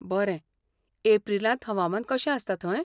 बरें. एप्रिलांत हवामान कशें आसता थंय?